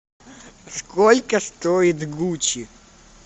сколько стоит гуччи